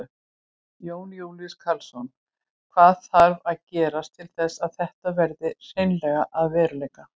Jón Júlíus Karlsson: Hvað þarf að gerast til þess að þetta verði hreinlega að veruleika?